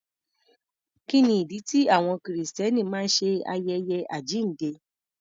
Kí ni ìdí tí àwọn Kìrìsìtẹ́nì máa ń ṣe ayẹyẹ àjíǹde?